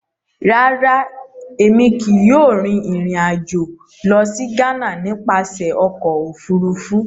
Rárá, Èmí kìí yóò rìn ìrìn ajo lọ si Ghana nípasẹ Ọkọ òfurufú